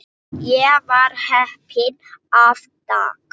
Ég var heppinn þann dag.